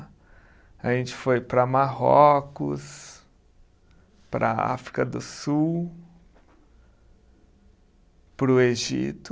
A gente foi para Marrocos, para a África do Sul, para o Egito.